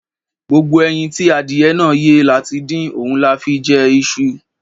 Gbogbo ẹyin tí adìyẹ náà yé la ti dín, òun la fi jẹ iṣu.